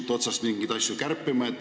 Lugupeetud Riigikohtu esimees!